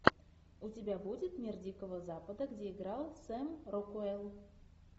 у тебя будет мир дикого запада где играл сэм рокуэлл